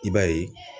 I b'a ye